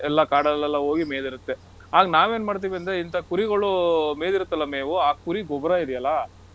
ಎಲ್ಲಾ ಕಾಡಲ್ಲೆಲ್ಲಾ ಹೋಗಿ ಮೆಯ್ದಿರತ್ತೆ. ಆಗ ನಾವೇನ್ ಮಾಡ್ತೀವಂದ್ರೆ ಇಂತಾ ಕುರಿಗಳು ಮೇಯ್ದಿರತ್ತಲ್ಲ ಮೇವು ಆ ಕುರಿ ಗೊಬ್ರ ಇದೆಯಲ್ಲಾ,